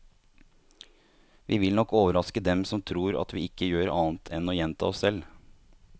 Vi vil nok overraske dem som tror at vi ikke gjør annet enn å gjenta oss selv.